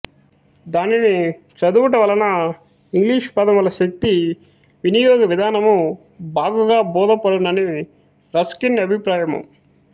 దానిని చదువుటవలన ఇంగ్లీషుపదముల శక్తి వినియోగ విధానము బాగుగా బోధపడునని రస్కిన్ అభీప్రాయము